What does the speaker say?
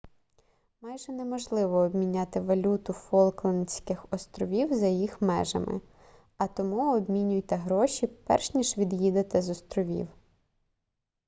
майже неможливо обміняти валюту фолклендських островів за їх межами а тому обмінюйте гроші перш ніж від'їдете з островів